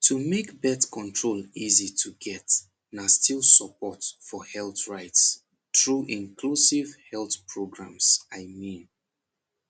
to make birth control easy to get na still support for health rights through inclusive health programs i mean